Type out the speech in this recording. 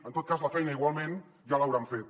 en tot cas la feina igualment ja l’hauran fet